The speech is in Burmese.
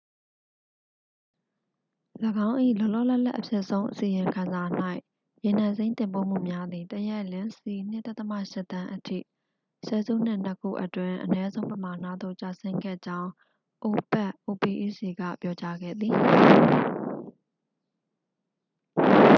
၄င်း၏ လောလောလတ်လတ်အဖြစ်ဆုံး အစီရင်ခံစာ၌ ရေနံစိမ်းတင်ပို့မှုများသည် တစ်ရက်လျှင် စည် ၂.၈ သန်းအထိ ဆယ်စုနှစ်နှစ်ခုအတွင်း အနည်းဆုံးပမာဏသို့ ကျဆင်းခဲ့ကြောင်း အိုပက် opec က ပြောကြားခဲ့သည်။